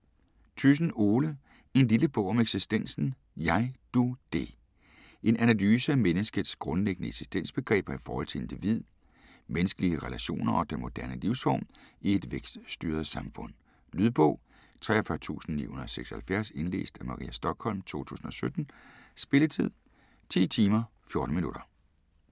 Thyssen, Ole: En lille bog om eksistensen: Jeg Du Det En analyse af menneskets grundlæggende eksistensbegreber i forhold til individ, menneskelige relationer og den moderne livsform i et vækststyret samfund. Lydbog 43976 Indlæst af Maria Stokholm, 2017. Spilletid: 10 timer, 14 minutter.